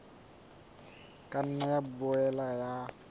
ka nna ya boela ya